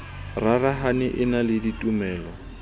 rarahane e na le ditumelo